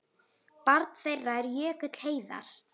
Barn þeirra er Jökull Heiðar.